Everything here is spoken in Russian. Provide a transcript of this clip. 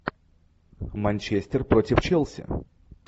манчестер против челси